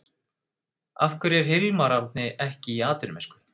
Af hverju er Hilmar Árni ekki í atvinnumennsku?